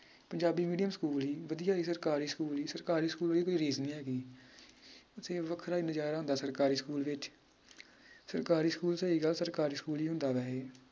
Punjabi medium school ਹੀ ਵਧੀਆ ਹੀ ਸਰਕਾਰੀ ਸਕੂਲ ਹੀ ਸਰਕਾਰੀ ਸਕੂਲ ਵਰਗੀ ਕੋਈ ਰੀਸ ਨੀ ਹੈਗੀ ਅਸੀ ਵੱਖਰਾ ਹੀ ਨਜਾਰਾ ਹੁੰਦਾ ਸਰਕਾਰੀ ਸਕੂਲ ਵਿਚ ਸਰਕਾਰੀ ਸਕੂਲ ਸਹੀ ਗੱਲ ਸਰਕਾਰੀ ਸਕੂਲ ਹੀ ਹੁੰਦਾ ਵੈਹੇ